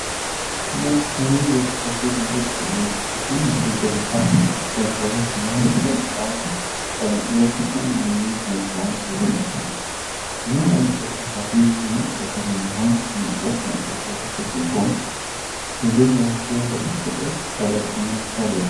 ነጭ ሸሚዝ የለበሱ ብዙ ሰዎች በትናንሽ የጀልባ ጀልባዎች ላይ በደስታ በመቀዘፍ በሰማያዊው ሐይቅ ላይ ይወዳደራሉ። እያንዳንዱ ተሳታፊ ለመቅዘፊያ የሚሆን የእንጨት መቅዘፊያ የያዘ ሲሆን፤ ጀልባዎቹም በክብ ቅርጽ ተበትነው ይታያሉ።